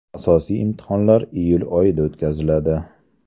Asosiy imtihonlar iyul oyida o‘tkaziladi.